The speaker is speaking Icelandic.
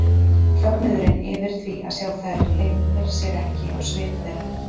Fögnuðurinn yfir því að sjá þær leynir sér ekki á svip þeirra.